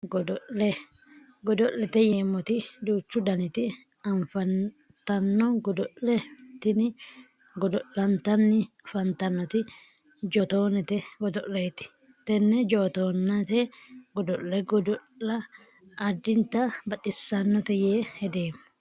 Godo'le godo'lete yineemmoti duuchu daniti afantanno goodo'le tini godo'lantanni afanttannoti jootoonete godo'leeti tenne jootoonete godo'le godo'la addinta baxissannote yee hedeemmo